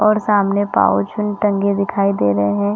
और सामने पाउच उन टंगे दिखाई दे रहे है।